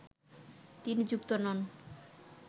তিনি যুক্ত নন